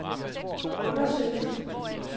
undersøgelsen